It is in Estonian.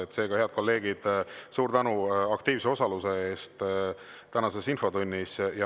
Seega, head kolleegid, suur tänu aktiivse osalemise eest tänases infotunnis!